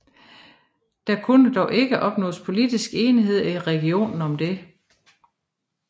Der kunne dog ikke opnås politisk enighed i regionen om det